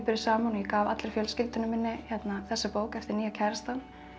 saman og ég gaf allri fjölskyldunni þessa bók eftir nýja kærastann